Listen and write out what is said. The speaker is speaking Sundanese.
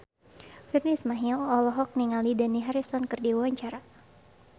Virnie Ismail olohok ningali Dani Harrison keur diwawancara